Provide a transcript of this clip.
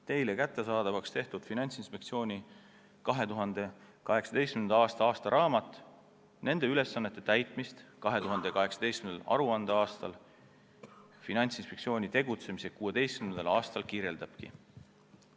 Teile kättesaadavaks tehtud Finantsinspektsiooni 2018. aasta aastaraamat nende ülesannete täitmist 2018. aruandeaastal, Finantsinspektsiooni tegutsemise 16. aastal kirjeldabki.